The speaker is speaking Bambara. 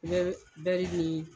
N be bɛri nii